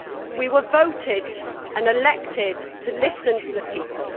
We were voted and elected to listen to the people.